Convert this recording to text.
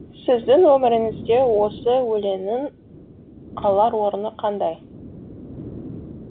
сіздің өміріңізде осы өлеңнің алар орны қандай